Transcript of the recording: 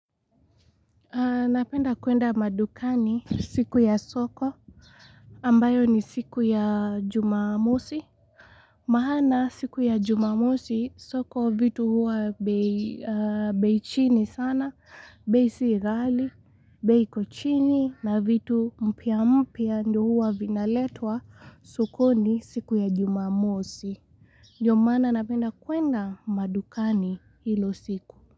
Napenda kuenda madukani siku ya soko ambayo ni siku ya jumamosi. Maana siku ya jumamosi soko vitu hua bei beichini sana, bei sighali, bei iko chini na vitu mpya mpya ndio hua vinaletwa sokoni siku ya jumamosi. Ndio mana napenda kuenda madukani hilo siku.